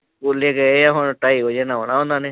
ਸਕੂਲੇ ਗਏ ਹੁਣ ਢਾਈ ਵਜੇ ਨੂੰ ਆਉਣਾ ਉਹਨਾਂ ਨੇ।